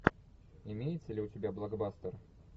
имеется ли у тебя блокбастер